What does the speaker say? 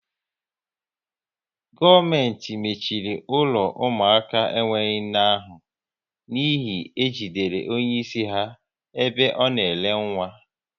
Gọọmenti mechiri ụlọ ụmụaka enwe nne ahụ n'ihi e jidere onye isi ha ebe ọ na ere nwa